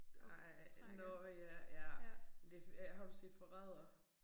Ej nåh ja ja det har du set Forræder